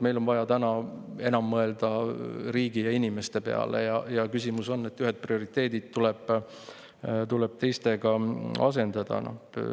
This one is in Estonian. Meil on vaja täna enam mõelda riigi ja inimeste peale ja küsimus on, et ühed prioriteedid tuleb teistega asendada.